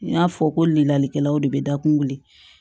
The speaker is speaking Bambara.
N y'a fɔ ko lilalikɛlaw de bɛ da kun wuli